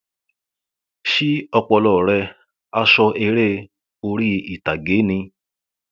ṣí ọpọlọ rẹ aṣọ eré orí ìtàgé ni